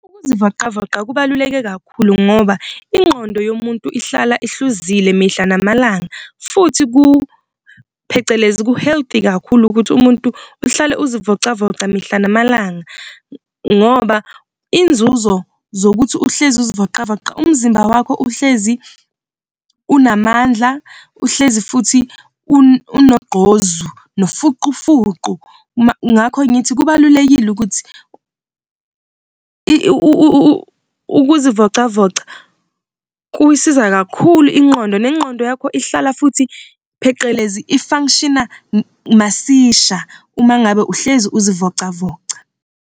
Ukuzivocavoca kubaluleke kakhulu ngoba ingqondo yomuntu ihlala ihluzile mihla namalanga, futhi ku phecelezi ku-healthy kakhulu ukuthi umuntu uhlale uzivocavoca mihla namalanga. Ngoba iy'nzuzo zokuthi uhlezi ukuzivocavoca umzimba wakho, uhlezi unamandla, uhlezi futhi unogqozu nofuqufuqu ngakho ngithi kubalulekile ukuthi ukuzivocavoca kuyisiza kakhulu ingqondo, nengqondo yakho ihlala futhi phecelezi i-function-a masisha, uma ngabe uhlezi ukuzivocavoca.